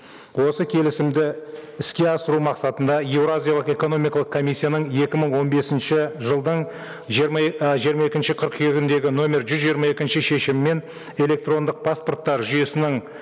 осы келісімді іске асыру мақсатында еуразиялық экономикалық комиссияның екі мың он бесінші жылдың жиырма ы жиырма екінші қыркүйегіндегі нөмір жүз жиырма екінші шешімімен электрондық паспорттар жүйесінің